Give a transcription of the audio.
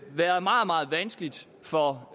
været meget meget vanskeligt for